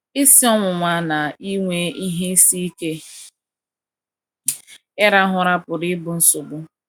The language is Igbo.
Isi ọwụwa na inwe ihe isi ike ịrahụ ụra pụrụ ịbụ nsogbu.